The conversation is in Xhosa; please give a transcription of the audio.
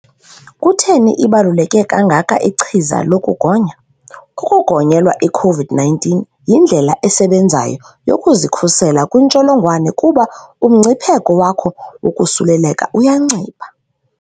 Kutheni ibaluleke kangaka ichiza lokugonya? Ukugonyelwa i-COVID-19 yindlela esebenzayo yokuzikhusela kwintsholongwane kuba umngcipheko wakho wokosuleleka uyancipha.